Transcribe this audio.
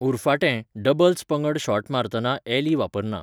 उरफाटें, डबल्स पंगड शॉट मारतना अॅली वापरना.